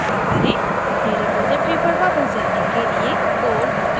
अपनी रेपॉज़िटरी पर वापस जाने के लिए code टैब पर click करें